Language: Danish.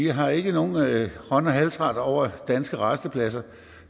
har ikke nogen hånd og halsret over danske rastepladser